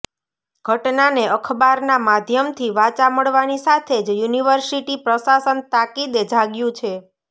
ઘટનાને અખબારના માધ્યમથી વાચા મળવાની સાથે જ યુનિર્વિસટી પ્રશાસન તાકીદે જાગ્યું છે